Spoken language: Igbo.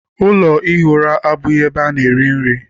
Ụlọ ihi ura abụghị ebe ana- eri nri.